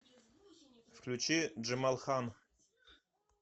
включи джемалхан